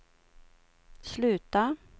sluta